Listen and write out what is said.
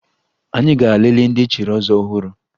Anyị gara lelee ndị echiri ọzọ ọhụrụ